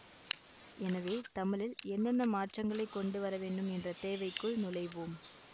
எனவே தமிழில் என்னென்ன மாற்றங்களைக் கொண்டு வரவேண்டும் என்ற தேவைக்குள் நுழைவோம்